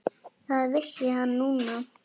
Það vissi hann núna.